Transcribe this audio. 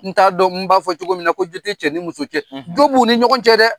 N t'a dɔn n b'a fɔ cogo min na, ko jo te cɛ ni muso cɛ, jo b'u ni ɲɔgɔn cɛ dɛ!